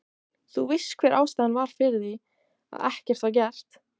Þú veist hver var ástæðan fyrir því, að ekkert var gert?